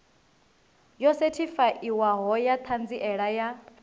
yo sethifaiwaho ya ṱhanziela ya